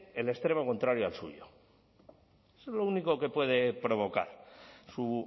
el extremo contrario al suyo eso es lo único que puede provocar su